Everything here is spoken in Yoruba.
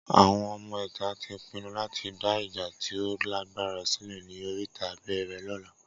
Awọn ọmọ ìta tí pinnu lati dá ìjà tí o lágbára sílẹ̀ ní oríta bẹẹrẹ lóla